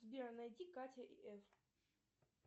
сбер найди катя и эф